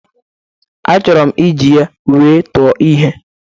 Achọrọ m iji ya wee tụọ ihe.